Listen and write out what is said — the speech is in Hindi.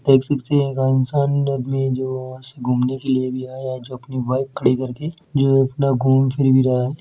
एक जो घूमने के लिए अभी आया है जो अपनी बाइक खड़ी करके जो अपना घूम फिर भी रहा है।